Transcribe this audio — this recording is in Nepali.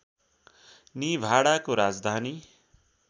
निभाडाको राजधानी